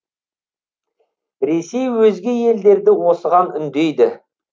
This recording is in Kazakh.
ресей өзге елдерді осыған үндейді